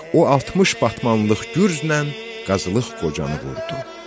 O 60 batmanlıq gürcnən Qazılıq Qocanı vurdu.